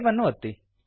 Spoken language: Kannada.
ಸೇವ್ ಅನ್ನು ಒತ್ತಿ